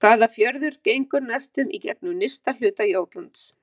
Hvaða fjörður gengur næstum í gegnum nyrsta hluta Jótlands?